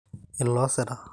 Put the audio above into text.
ill`oosira